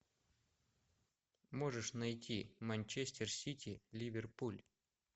можешь найти манчестер сити ливерпуль